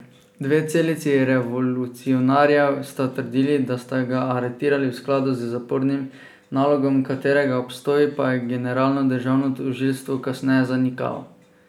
Dve celici revolucionarjev sta trdili, da sta ga aretirali v skladu z zapornim nalogom, katerega obstoj pa je generalno državno tožilstvo kasneje zanikalo.